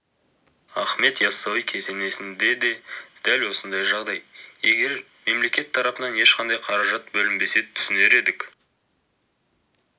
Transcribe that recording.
ахмет яссауи кесенесінде де дәл осындай жағдай егер мемлекет тарапынан ешқандай қаражат бөлінбесе түсінер едік